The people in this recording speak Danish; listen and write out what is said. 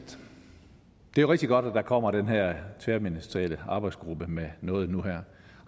det jo er rigtig godt at der kommer den her tværministerielle arbejdsgruppe med noget nu her